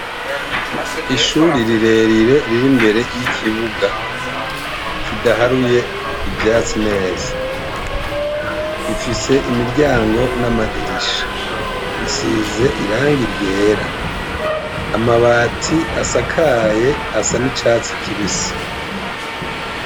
Ishuri rirerire riri imbere y'ikibuga kidaharuye ivyatsi neza rifise imiryango n'amadirisha risize iranga iryera amabati asakaye asa n'icatsi kibise.